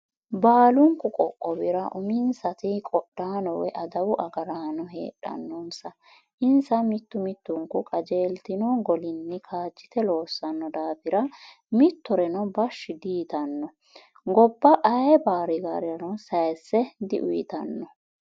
Baalunku qoqqowira uminsati qodhano woyi adawu agarraano heedhanonsa insa mitu mitunku qajeeltino golinni kaajite loosano daafira mittoreno bashi diyitano gobba ayee baarigarirano sayise diuyittano.